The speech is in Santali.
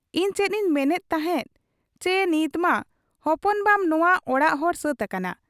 ᱤᱧ ᱪᱮᱫ ᱤᱧ ᱢᱮᱱᱮᱫ ᱛᱟᱦᱮᱸᱫᱪᱤ ᱱᱤᱛᱢᱟ ᱦᱚᱯᱚᱱ ᱵᱟᱢ ᱱᱚᱶᱟ ᱚᱲᱟᱜ ᱦᱚᱲ ᱥᱟᱹᱛ ᱟᱠᱟᱱᱟ ᱾